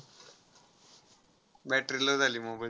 Battery low झाली mobile